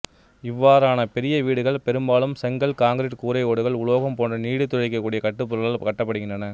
இவ்வாறான பெரிய வீடுகள் பெரும்பாலும் செங்கல் காங்கிறீட்டு கூரை ஓடுகள் உலோகம் போன்ற நீடித்துழைக்கக்கூடிய கட்டிடப் பொருட்களால் கட்டப்படுகின்றன